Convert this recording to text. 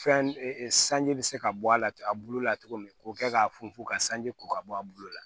Fɛn sanji bɛ se ka bɔ a la a bulu la cogo min k'o kɛ k'a funfun ka sanji ko ka bɔ a bulu la